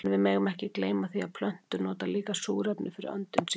En við megum ekki gleyma því að plöntur nota líka súrefni fyrir öndun sína.